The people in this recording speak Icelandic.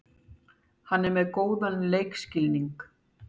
Hann er með góðan leikskilning.